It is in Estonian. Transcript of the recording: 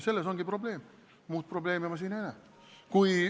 Selles ongi probleem, muud probleemi ma siin ei näe.